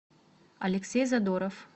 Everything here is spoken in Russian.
алексей задоров